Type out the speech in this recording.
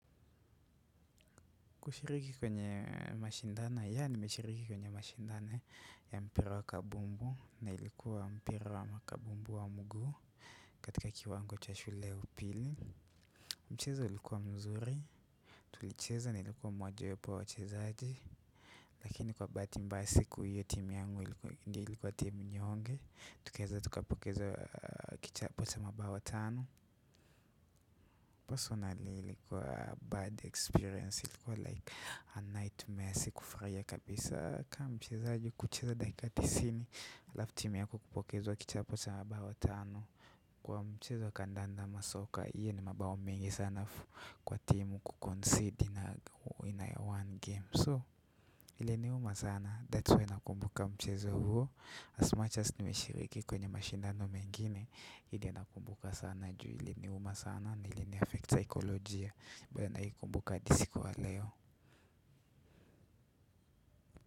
Kushiriki kwenye mashindano ya nimeshiriki kwenye mashindano ya mpira wa kabumbu na ilikuwa mpira wa makabumbu wa mguu katika kiwango cha shule upili. Mchezo ilikuwa mzuri. Tulicheza nilikuwa mmojawapo wa wachezaji, lakini kwa bahati mbaya siku hiyo timu yangu ilikuwa ndiyo ilikuwa timu nyonge. Tukiweza tukapokeza kichapo cha mabawa tano. Personally ilikuwa bad experience. Ilikuwa like a nightmare si kufurahia kabisa. Kama mchezaji kucheza dakika tisini alafu timu yako kupokezwa kichapo cha mabawa tano. Kwa mchezo wa kandanda ama soccer, hiyo ni mabao mengi sana alafu kwa timu concede ina one game. So, iliniuma sana. That's why nakumbuka mchezo huo. As much as nimeshiriki kwenye mashindano mengine, ile nakumbuka sana. Juu iliniuma sana na ilini affect kisaikolojia. Bado naikumbuka hadi kuwa leo.